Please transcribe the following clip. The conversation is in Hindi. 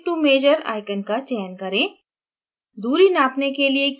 tool bar में click to measure icon का चयन करें